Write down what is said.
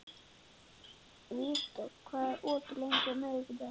Vígdögg, hvað er opið lengi á miðvikudaginn?